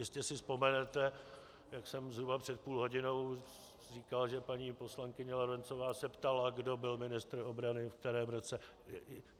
Jistě si vzpomenete, jak jsem zhruba před půl hodinou říkal, že paní poslankyně Lorencová se ptala, kdo byl ministr obrany, ve kterém roce.